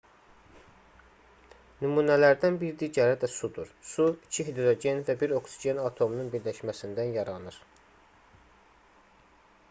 nümunələrdən bir digəri də sudur su iki hidrogen və bir oksigen atomunun birləşməsindən yaranır